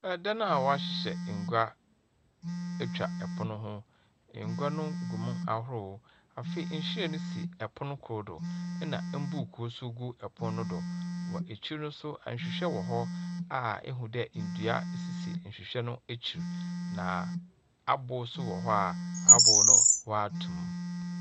Ɛdan a wahyehyɛ ngua atwa ɛpono . Ngua no gu mu ahorow. Afei nhyerɛn ne si ɛpon koro do na buku so gu ɛpono koro do. wɔ akyiri nso nhwehwɛ ɛwɔ hɔ a ehu dɛɛ ndua asisi nhwehwɛ no akyi. Na albo nso wɔ hɔ a albo no w'atumu.